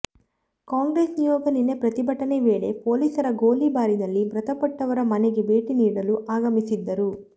ಕಾಂಗ್ರೆಸ್ ನಿಯೋಗ ನಿನ್ನೆ ಪ್ರತಿಭಟನೆ ವೇಳೆ ಪೊಲೀಸರ ಗೋಲಿಬಾರಿನಲ್ಲಿ ಮೃತಪಟ್ಟವರ ಮನೆಗೆ ಭೇಟಿ ನೀಡಲು ಆಗಮಸಿದ್ದರು